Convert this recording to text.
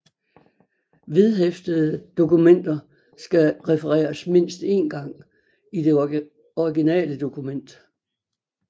Vedhæftede dokumenter skal refereres mindst én gang i det originale dokument